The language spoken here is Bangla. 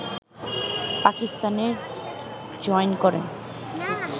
পাকিস্তানে জয়েন করেন